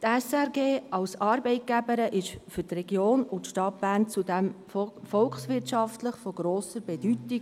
Die SRG als Arbeitgeberin ist für die Region und für die Stadt Bern zudem von grosser volkswirtschaftlicher Bedeutung.